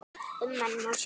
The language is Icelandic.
Ummælin má sjá hér.